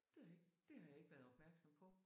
Det ved jeg ikke. Det har jeg ikke været opmærksom på